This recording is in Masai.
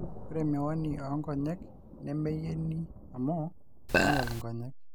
ore miwanini oo nkonyek nemeyieni amuu kiinyal nkonyek